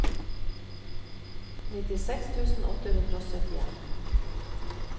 nittiseks tusen åtte hundre og syttien